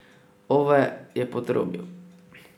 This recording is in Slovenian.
Ove je potrobil.